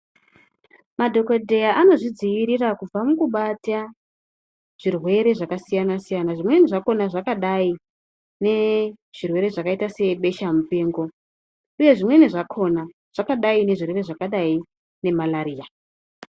Madhokodheya anozvidzivirira kubva mukubata zvirwere zvakasiyana-siyana, zvimweni zvakona zvakadai nezvirwere zvakaita sebesha-mupengo uye zvimweni zvakona zvakadai nezvirwere zvakadai nemalaria.